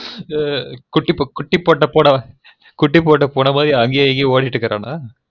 ஆ குட்டி பொட்ட பூமனை குட்டி பூட்ட பூனை மாரி அங்ங்கேயும் இங்கேயும் ஒடிட்டே கெடந்தான்